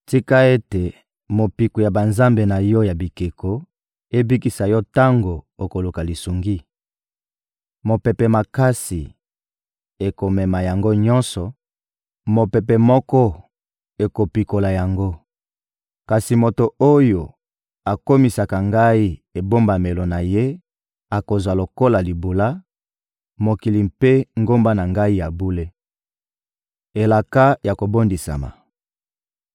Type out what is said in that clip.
Tika ete mopiku ya banzambe na yo ya bikeko ebikisa yo tango okoluka lisungi! Mopepe makasi ekomema yango nyonso, mopepe moko ekopikola yango. Kasi moto oyo akomisaka Ngai ebombamelo na ye akozwa lokola libula mokili mpe ngomba na Ngai ya bule.» Elaka ya kobondisama